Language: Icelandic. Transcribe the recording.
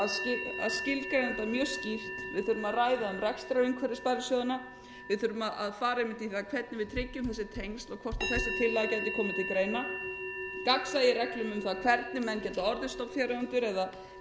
um rekstrarumhverfi sparisjóðanna við þurfum að fara einmitt í það hvernig við tryggjum þessi tengsl og hvort þessi tillaga gæti komið til greina gagnsæi í reglum um það hvernig menn geta orðið stofnfjáreigendur eða ættu ekki aðkomu að þessu og síðan hvernig við viljum